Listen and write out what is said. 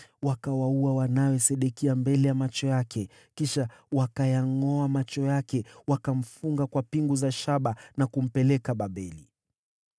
Wakawaua wana wa Sedekia mbele ya macho yake. Kisha wakayangʼoa macho yake, wakamfunga kwa pingu za shaba na kumpeleka Babeli.